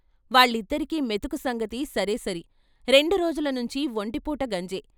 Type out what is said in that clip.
వాళ్ళిద్దరికీ మెతుకు సంగతి సరేసరి రెండు రోజుల నుంచీ ఒంటిపూట గంజే.